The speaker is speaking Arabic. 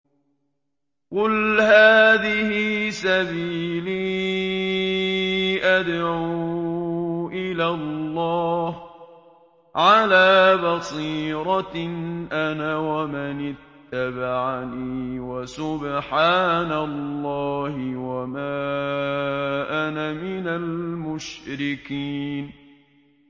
قُلْ هَٰذِهِ سَبِيلِي أَدْعُو إِلَى اللَّهِ ۚ عَلَىٰ بَصِيرَةٍ أَنَا وَمَنِ اتَّبَعَنِي ۖ وَسُبْحَانَ اللَّهِ وَمَا أَنَا مِنَ الْمُشْرِكِينَ